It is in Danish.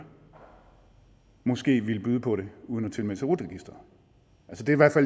måske ville byde på det uden at tilmelde sig rut registeret